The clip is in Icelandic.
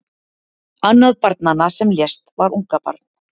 Annað barnanna sem lést var ungabarn